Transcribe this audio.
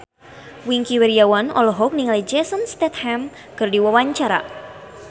Wingky Wiryawan olohok ningali Jason Statham keur diwawancara